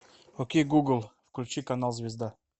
окей гугл включи канал звезда